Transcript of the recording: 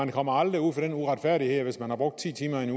kommer aldrig ud for den uretfærdighed at hvis man har brugt ti timer i